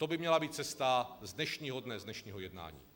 To by měla být cesta z dnešního dne, z dnešního jednání.